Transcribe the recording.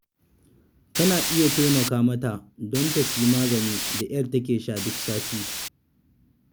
Kana iya taimaka mata don ta sayi magani da ƴar take sha duk sati.